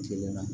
Kilen na